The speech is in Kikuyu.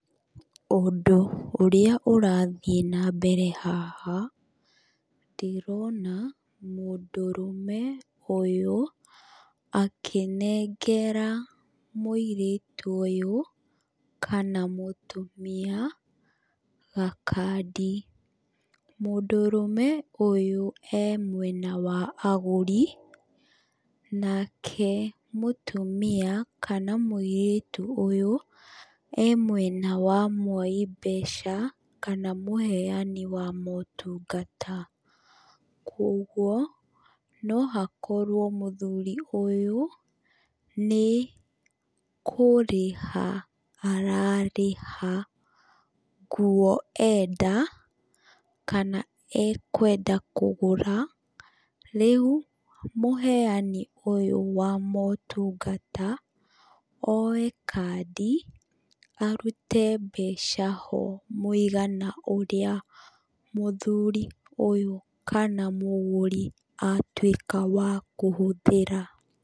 Ũndũ ũrĩa ũrathiĩ nambere haha, ndĩrona mũndũrũme ũyũ akĩnengera mũirĩtu ũyũ, kana mũtumia, gakandi. Mũndũrũme ũyũ e mwena wa agũri, nake mũtumia kana mũirĩtu ũyũ, e mwena wa mwoi mbeca, kana mũheani wa motungata. Koguo, no hakorwo mũthuri ũyũ, nĩ kũrĩha ararĩha, nguo enda, kana ekwenda kũgũra, rĩu, mũheani ũyũ wa motungata, oe kandi, arute mbeca ho mũigana ũrĩa mũthuri ũyũ kana mũgũri atuĩka wa kũhũthĩra.